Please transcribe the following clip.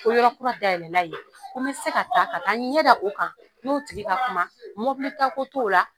Ko yɔrɔ kura dayɛlɛ la yen ko n bɛ se ka taa ka taa n ɲɛda o kan n'o tigi ka kuma mobili taa ko t'o la.